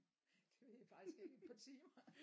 Det ved jeg faktisk ikke et par timer